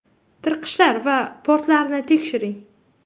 Tirqishlar va portlarni tekshiring.